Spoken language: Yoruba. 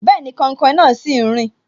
Bẹẹni, kainkain náà sì ń rin